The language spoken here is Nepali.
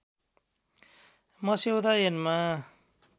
मस्यौदा ऐनमा